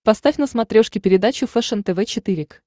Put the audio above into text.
поставь на смотрешке передачу фэшен тв четыре к